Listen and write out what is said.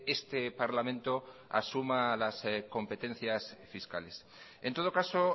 este parlamento asuma las competencias fiscales en todo caso